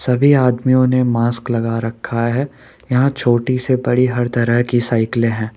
सभी आदमियों ने मास्क लगा रखा है यहां छोटी से बड़ी हर तरह की साइकिलें हैं।